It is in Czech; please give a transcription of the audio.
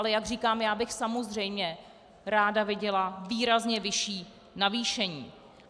Ale jak říkám, já bych samozřejmě ráda viděla výrazně vyšší navýšení.